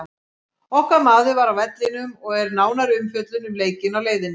Okkar maður var á vellinum og er nánari umfjöllun um leikinn á leiðinni.